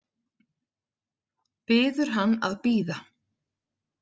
Biður hann að bíða.